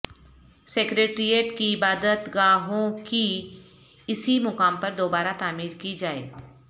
secretariat کی عبادت گاہوںکی اسی مقام پر دوبارہ تعمیر کی جائے